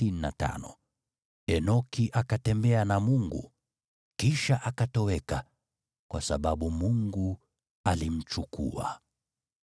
Enoki akatembea na Mungu, kisha akatoweka, kwa sababu Mungu alimchukua.